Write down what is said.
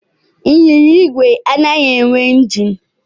Ịnyịnya igwe anaghị enwe injin.